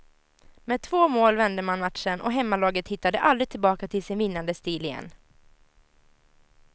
Med två mål vände man matchen och hemmalaget hittade aldrig tillbaka till sin vinnande stil igen.